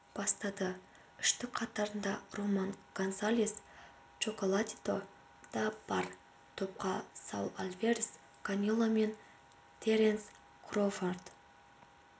бастады үштік қатарында роман гонсалес чоколатито да бар топқа саул альварес канело мен теренс кроуфорд